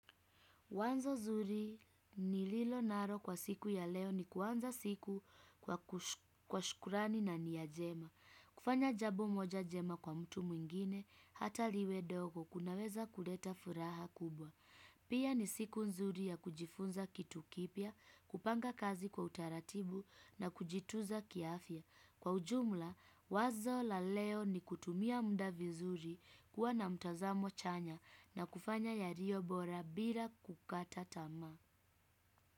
Wazo zuri nililo naro kwa siku ya leo ni kuanza siku kwa kushukurani na niya njema. Kufanya jabo moja jema kwa mtu mwingine hataliwe dogo kunaweza kuleta furaha kubwa. Pia ni siku nzuri ya kujifunza kitu kipia, kupanga kazi kwa utaratibu na kujitunza kiafia. Kwa ujumla, wazo la leo ni kutumia muda vizuri kuwa na mtazamo chanya na kufanya yaliyo bora bila kukata tamaa.